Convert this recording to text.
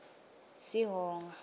sihonga